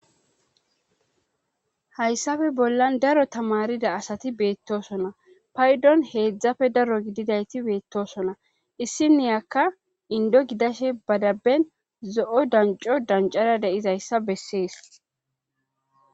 hayssafe bollan daro tamarida asati beettosona paydon heedzdzafe daro gididayti beettosona issi niyakka indo gidashe badaben zo7o danco dancara deizayssa bessees